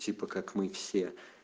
типа как мы все